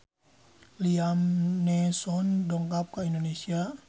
Liam Neeson dongkap ka Indonesia